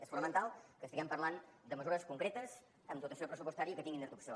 és fonamental que estiguem parlant de mesures concretes amb dotació pressupostària i que tinguin traducció